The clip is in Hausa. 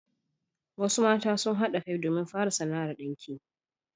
Wasu mata sun haɗa kan su domin fara sana'ar ɗinki.